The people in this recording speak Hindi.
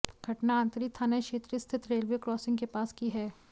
घटना आंतरी थाना क्षेत्र स्थित रेलवे क्रॉसिंग के पास की है